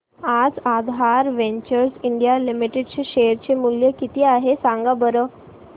आज Aadhaar Ventures India Limited चे share चे मूल्य किती आहे सांगा बरं